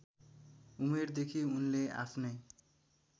उमेरदेखि उनले आफ्नै